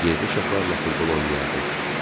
Yerli uşaqlarla futbol oynayardı.